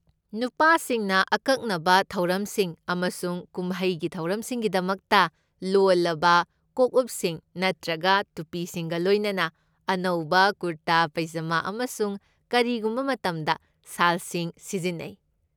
ꯅꯨꯄꯥꯁꯤꯡꯅ ꯑꯀꯛꯅꯕ ꯊꯧꯔꯝꯁꯤꯡ ꯑꯃꯁꯨꯡ ꯀꯨꯝꯍꯩꯒꯤ ꯊꯧꯔꯝꯁꯤꯡꯒꯤꯗꯃꯛꯇ, ꯂꯣꯜꯂꯕ ꯀꯣꯛꯎꯞꯁꯤꯡ ꯅꯠꯇ꯭ꯔꯒ ꯇꯨꯄꯤꯁꯤꯡꯒ ꯂꯣꯏꯅꯅ ꯑꯅꯧꯕ ꯀꯨꯔꯇꯥ ꯄꯩꯖꯃꯥ ꯑꯃꯁꯨꯡ ꯀꯔꯤꯒꯨꯝꯕ ꯃꯇꯝꯗ ꯁꯥꯜꯁꯤꯡ ꯁꯤꯖꯤꯟꯅꯩ꯫